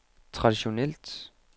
traditionelt